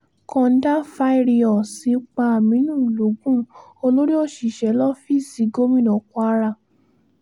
• kòńdàfáàrírọ́ọ̀sì pa aminu lọ́gun olórí òṣìṣẹ́ lọ́fíìsì gómìnà kwara